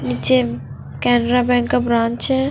निचे camera main का branch है।